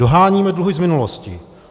Doháníme dluhy z minulosti.